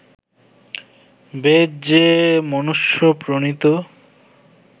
বেদ যে মনুষ্য-প্রণীত